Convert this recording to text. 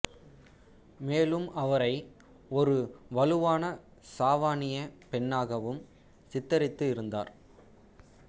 மேலும் அவரை ஒரு வலுவான சாவானியப் பெண்ணாகவும் சித்தரித்து இருந்தார்